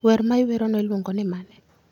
wer ma iwerono iluongo ni mane?